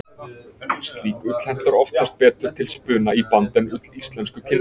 Slík ull hentar oftast betur til spuna í band en ull íslensku kindarinnar.